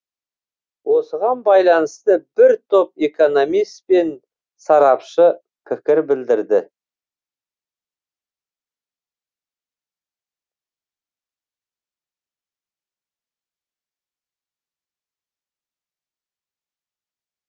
осыған байланысты бір топ экономист пен сарапшы пікір білдірді